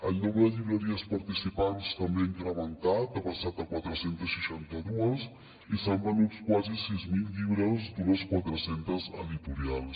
el nombre de llibreries participants també ha incrementat ha passat a quatre cents i seixanta dos i s’han venut quasi sis mil llibres d’unes quatre centes editorials